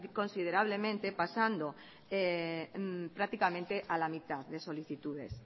considerablemente pasando prácticamente a la mitad de solicitudes